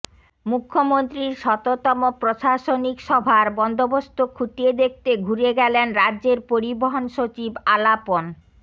মুখ্যমন্ত্রীর শততম প্রশাসনিক সভার বন্দোবস্তো খুঁটিয়ে দেখতে ঘুরে গেলেন রাজ্যের পরিবহণ সচিব আলাপন